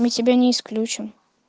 мы себя не исключим